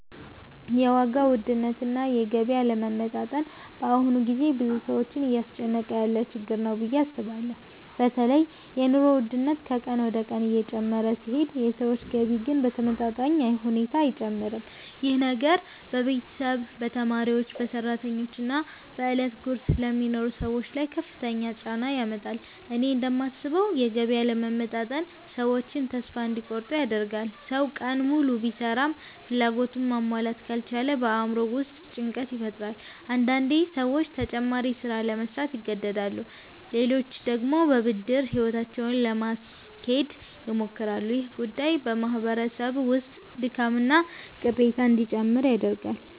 የዋጋ ውድነትና የገቢ አለመመጣጠን በአሁኑ ጊዜ ብዙ ሰዎችን እያስጨነቀ ያለ ችግር ነው ብዬ አስባለሁ። በተለይ የኑሮ ውድነት ከቀን ወደ ቀን እየጨመረ ሲሄድ የሰዎች ገቢ ግን በተመጣጣኝ ሁኔታ አይጨምርም። ይህ ነገር በቤተሰብ፣ በተማሪዎች፣ በሰራተኞች እና በዕለት ጉርስ ለሚኖሩ ሰዎች ላይ ከፍተኛ ጫና ያመጣል። እኔ እንደማስበው የገቢ አለመመጣጠን ሰዎችን ተስፋ እንዲቆርጡ ያደርጋል። ሰው ቀን ሙሉ ቢሰራም ፍላጎቱን ማሟላት ካልቻለ በአእምሮው ውስጥ ጭንቀት ይፈጠራል። አንዳንዴ ሰዎች ተጨማሪ ሥራ ለመሥራት ይገደዳሉ፣ ሌሎች ደግሞ በብድር ሕይወታቸውን ለማስኬድ ይሞክራሉ። ይህ ጉዳይ በማህበረሰብ ውስጥ ድካምና ቅሬታ እንዲጨምር ያደርጋል።